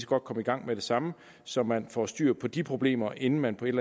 godt komme i gang med det samme så man får styr på de problemer inden man på et